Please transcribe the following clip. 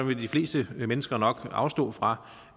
vil de fleste mennesker nok afstå fra